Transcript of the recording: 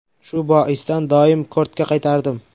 Shu boisdan doim kortga qaytardim.